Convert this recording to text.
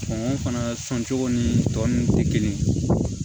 fana sɔncogo ni tɔninw tɛ kelen ye